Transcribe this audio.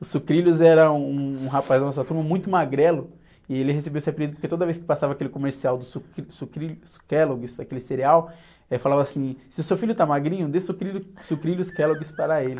O Sucrilhos era um rapaz da nossa turma muito magrelo e ele recebeu esse apelido porque toda vez que passava aquele comercial do sucri, Sucrilhos Kellogg's, aquele cereal, ele falava assim, se o seu filho está magrinho, dê sucrilho, Sucrilhos Kellogg's para ele.